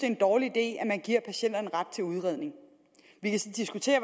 en dårlig idé at man giver patienterne ret til udredning vi kan så diskutere